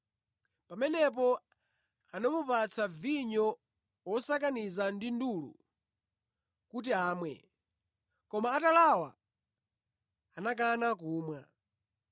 Pamenepo anamupatsa vinyo wosakaniza ndi ndulu kuti amwe; koma atalawa anakana kumwa.